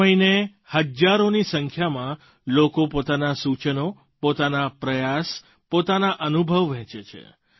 દર મહિને હજારોની સંખ્યામાં લોકો પોતાનાં સૂચનો પોતાના પ્રયાસ પોતાના અનુભવ વહેંચે છે